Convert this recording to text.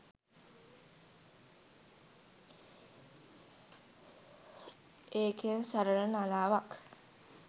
ඒකෙන් සරළ නලාවක්